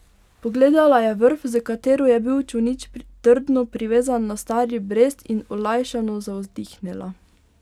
Pogledala je vrv, s katero je bil čolnič trdno privezan na stari brest, in olajšano zavzdihnila.